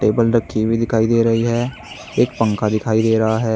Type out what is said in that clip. Table रखी हुई दिखाई दे रही है। एक पंखा दिखाई दे रहा है।